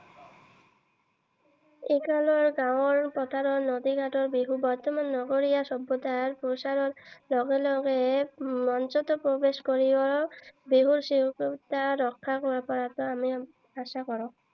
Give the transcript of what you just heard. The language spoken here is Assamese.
এই কাৰণত গাঁৱৰ পথাৰৰ বিহু বৰ্তমান নগৰীয়া সভ্যতাৰ প্ৰসাৰৰ লগে লগে মঞ্চতো প্ৰৱেশ কৰিছে, বিহুৰ স্বকীয়তা ৰক্ষা কৰাটো আমি আশা কৰো।